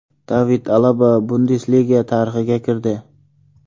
David Alaba Bundesliga tarixiga kirdi.